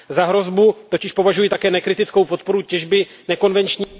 Za hrozbu totiž považuji také nekritickou podporu těžby nekonvenční